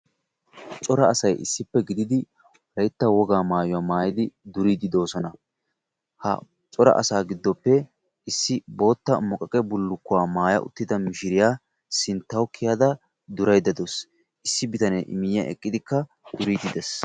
Cora asay issippe gididi wolaytta wogaa maayuwa maayidi duriidi de'oosona. Ha cora asaa giddoppe issi boottaa muqaqqe bullukkuwa maaya uttida mishshiriya sinttawu kiyada durayda dawusu. Issi bitane I miyan eqqidikka duriidi dees.